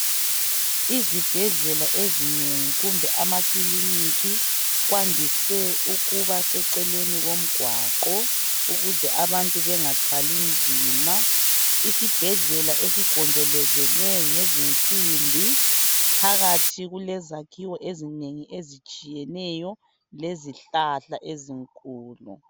Izibhedlela ezinengi kumbe amakiliniki kwandise ukubaseceleni komgwaqo ukuze abantu bengathwali nzima isibhedlela esigonjolozelwe ngezinsimbi phakathi kulezakhiwo ezinengi ezitshiyeneyo lezihlahla ezinkulu